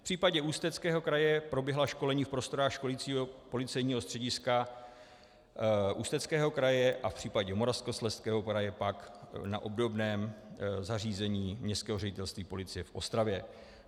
V případě Ústeckého kraje proběhla školení v prostorách školicího policejního střediska Ústeckého kraje a v případě Moravskoslezského kraje pak na obdobném zařízení Městského ředitelství policie v Ostravě.